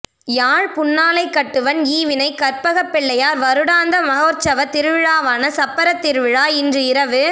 யாழ் புன்னாலைக்கட்டுவன் ஈவினை கற்ப்பகப்பிள்ளையார் வருடாந்த மகோற்சவத் திருவிழாவான சப்பறத்திருவிழா இன்று இரவு